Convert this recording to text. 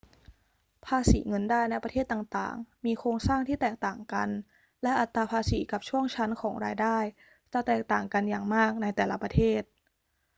ภาษีเงินได้ในประเทศต่าง ๆ มีโครงสร้างที่แตกต่างกัน และอัตราภาษีกับช่วงชั้นของรายได้จะแตกต่างกันอย่างมากในแต่ละประเทศ